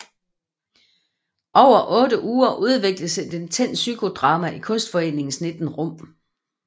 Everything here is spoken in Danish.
Over 8 uger udvikledes et intenst psykodrama i Kunstforeningens 19 rum